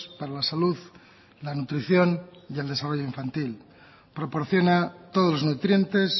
para la salud la nutrición y el desarrollo infantil proporciona todos los nutrientes